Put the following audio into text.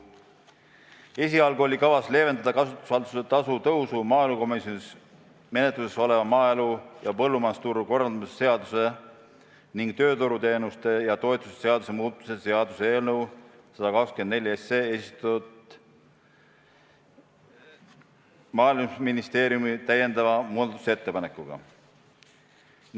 Esialgu oli kavas leevendada kasutushalduse tasu tõusu maaelukomisjonis menetluses olnud maaelu ja põllumajandusturu korraldamise seaduse ning tööturuteenuste ja -toetuste seaduse muutmise eelnõu kohta esitatud Maaeluministeeriumi täiendava muudatusettepanekuga.